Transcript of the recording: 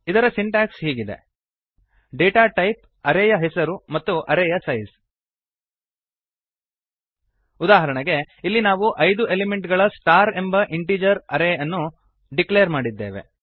ಇದರ ಸಿಂಟ್ಯಾಕ್ಸ್ ಹೀಗಿದೆ data type array ಯ ಹೆಸರು ಮತ್ತು ಅರೇಯ ಸೈಸ್ ಉದಾಹರಣೆಗೆ ಇಲ್ಲಿ ನಾವು ಐದು ಎಲಿಮೆಂಟ್ ಗಳ ಸ್ಟಾರ್ ಎಂಬ ಇಂಟಿಜರ್ ಅರೇ ಯನ್ನು ಡಿಕ್ಲೇರ್ ಮಾಡಿದ್ದೇವೆ